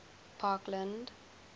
parkland